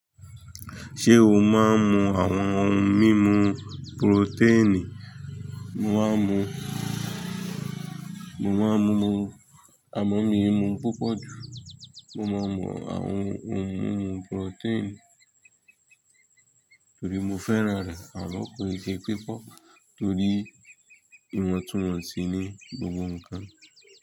Ṣé o máa ń mu àwọn ohun mímu purotẹ́ẹ̀nì? Mo máa ń mu, mo máa ń mu amọ́ mìímu púpọ̀ jù. Mo máa ń mu àwọn ohun mímu purotẹ́ẹ̀nì torí mo fẹ́ra rẹ̀. Àlọ́ kò lè ṣe pipọ́ torí ìwọ̀ntúwọ̀nsí ní gbogbo ǹkan.